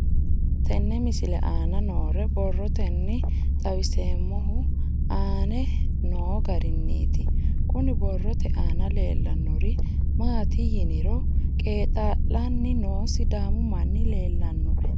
Tenne misile aana noore borroteni xawiseemohu aane noo gariniiti. Kunni borrote aana leelanori maati yiniro qeexa'lanni noo sidaamu manni leelanoe.